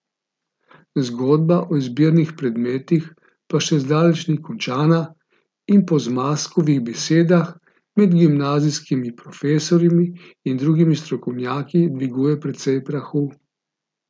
Zgodba o izbirnih predmetih pa še zdaleč ni končana in po Zmazkovih besedah med gimnazijskimi profesorji in drugimi strokovnjaki dviguje precej prahu.